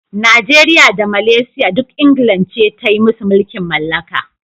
Najeriya da Malaysia duk England ce ta yi musu mulkin mallaka.